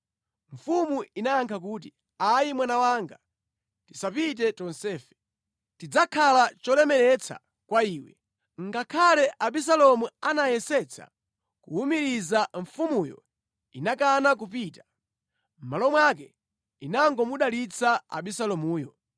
Mfumu inayankha kuti, “Ayi mwana wanga, tisapite tonsefe. Tidzakhala cholemetsa kwa iwe.” Ngakhale Abisalomu anayesetsa kuwumiriza mfumuyo, inakana kupita. Mʼmalo mwake inangomudalitsa Abisalomuyo.